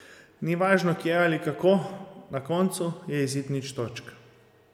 Ni važno kje ali kako, na koncu je izid nič točk.